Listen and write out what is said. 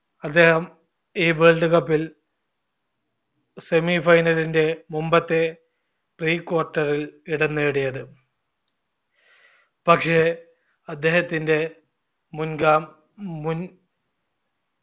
അദ്ദേഹം ഈ world cup ൽ semi final ന്റെ മുമ്പത്തെ pre quarter ൽ ഇടം നേടിയത് പക്ഷെ അദ്ദേഹത്തിന്റെ മുൻഗാ മുൻ